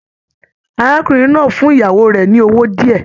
Arákùnrin náà fún ìyàwó rẹ ní owó diẹ.